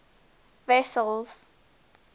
wessels